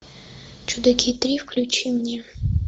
чудаки три включи мне